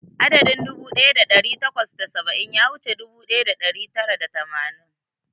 Adadin dubu ɗaya da ɗari takwas da saba'in ya wuce dubu ɗaya da ɗari takwas da tamanin.